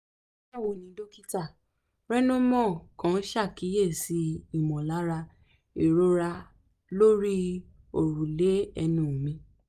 báwo ni dókítà rynnemo kàn ṣàkíyèsí ìmọ̀lára ìrora lórí òrùlé ẹnu mi